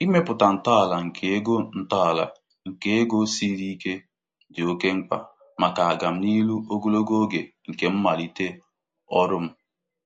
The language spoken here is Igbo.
Ịmepụta ntọala nke ego ntọala nke ego siri ike dị oke mkpa maka ọganihu ogologo oge nke mmalite ọrụ m.